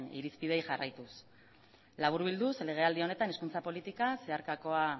irizpideei jarraituz laburbilduz legealdi honetan hizkuntza politika zeharkakoa